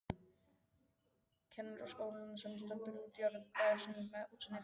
Kennaraskólann sem stendur í útjaðri bæjarins með útsýni til